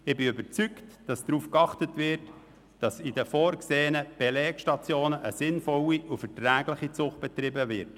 Ich bin überzeugt, dass darauf geachtet wird, dass an den vorgesehenen Belegstationen eine sinnvolle und verträgliche Zucht betrieben wird.